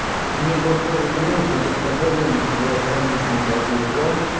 мне бот тоже звонит но только тогда звонит тогда я сам лично ухожу в офлайн